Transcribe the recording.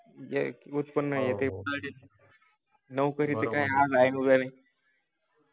जे उत्पन्न लवकर येते आज आहे उद्या नाही